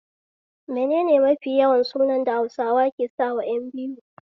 Menene mafi yawan sunan da Hausawa ke sawa ƴan biyu?